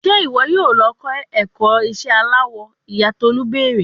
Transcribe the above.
Ṣe iwọ yoo lọ kọ ẹkọ iṣẹ alawọ, iya Tolu beere